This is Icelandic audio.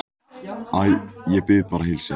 Æ, ég bið bara að heilsa henni